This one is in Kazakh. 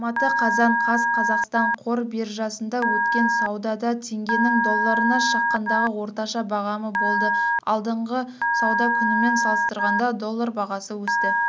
алматы қазан қаз қазақстан қор биржасында өткен саудада теңгенің долларына шаққандағы орташа бағамы болды алдыңғы сауда күнімен салыстырғанда доллар бағасы өсті